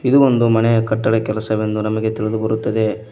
ಇದು ಒಂದು ಮನೆಯ ಕಟ್ಟಡ ಕೆಲಸ ಎಂದು ನಮಗೆ ತಿಳಿದು ಬರುತ್ತದೆ.